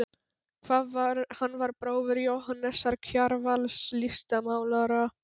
Hann var bróðir Jóhannesar Kjarvals, listmálara.